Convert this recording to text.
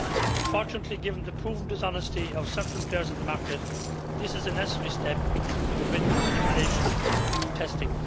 Unfortunately, given the proven dishonesty of certain players in the market, this is a necessary step to prevent manipulation of testing.